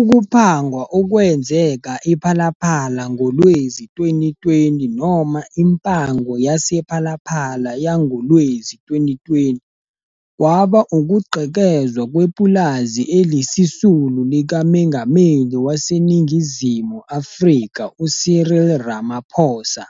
Ukuphangwa okwenzeka ePhalaPhala ngoLwezi-2020 noma impango yasePhalaphala yangowezi-2020 kwaba ukugqekezwa kwepulazi elisisulu likaMengameli waseNingizimu Afrika uCyril Ramaphosa